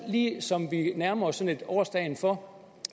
ligesom vi nærmer os årsdagen for